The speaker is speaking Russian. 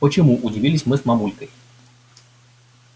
почему удивились мы с мамулькой